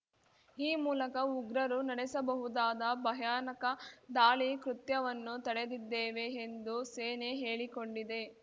ಈ ಮೂಲಕ ಉಗ್ರರು ನಡೆಸಬಹುದಾದ ಭಯಾನಕ ದಾಳಿ ಕೃತ್ಯವನ್ನು ತಡೆದಿದ್ದೇವೆ ಎಂದು ಸೇನೆ ಹೇಳಿಕೊಂಡಿದೆ